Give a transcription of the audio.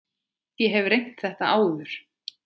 Ég hef reynt þetta áður.